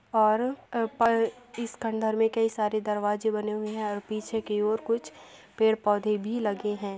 और ए पर इस खंडहर में कई सारे दरवाजे बने हुए हैं और पीछे की ओर कुछ पेड़-पौधे भी लगे हैं।